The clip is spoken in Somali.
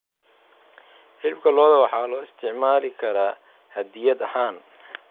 Hilibka lo'da waxaa loo isticmaali karaa hadiyad ahaan.